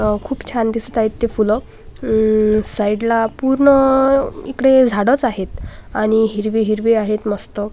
खूप छान दिसतायत ते फुलं साईड ला पूर्ण इकडे झाडच आहेत आणि हिरवी हिरवे आहेत मस्त--